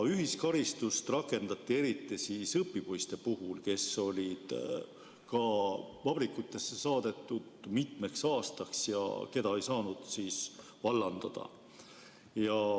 Ühiskaristust rakendati eriti õpipoiste puhul, kes olid vabrikutesse saadetud mitmeks aastaks ja keda ei saanud vallandada.